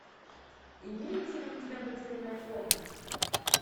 имеется ли у тебя потерянная комната